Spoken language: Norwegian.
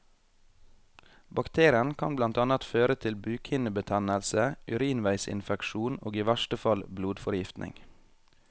Bakterien kan blant annet føre til bukhinnebetennelse, urinveisinfeksjon og i verste fall blodforgiftning.